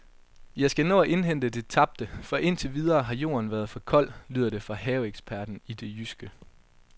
Jeg skal nå at indhente det tabte, for indtil videre har jorden været for kold, lyder det fra haveeksperten i det jyske.